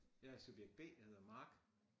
Jeg er subjekt B jeg hedder Mark